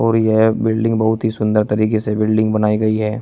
भी है बिल्डिंग बहुत ही सुंदर तरीके से बिल्डिंग बनाई गई है।